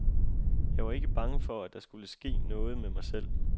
Jeg var ikke bange for, at der skulle ske noget med mig selv.